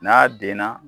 N'a denna